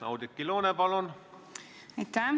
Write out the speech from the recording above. Oudekki Loone, palun!